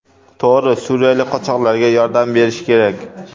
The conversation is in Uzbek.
To‘g‘ri, suriyalik qochoqlarga yordam berish kerak.